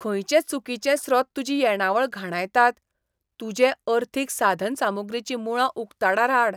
खंयचे चुकीचे स्रोत तुजी येणावळ घाणायतात? तुजे अर्थीक साधनसामुग्रीचीं मूळां उकताडार हाड.